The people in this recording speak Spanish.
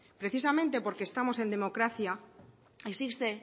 precisamente porque estamos en democracia existe